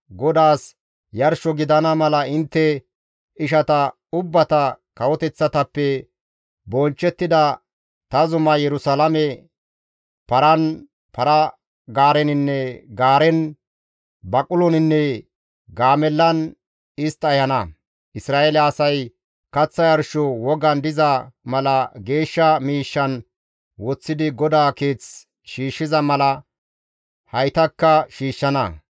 GODAAS yarsho gidana mala intte ishata ubbata kawoteththatappe bonchchettida ta zumaa Yerusalaame paran, para-gaareninne gaaren, baquloninne gaamellan istta ehana. Isra7eele asay kaththa yarsho wogan diza mala geeshsha miishshan woththidi GODAA Keeth shiishshiza mala haytakka shiishshana.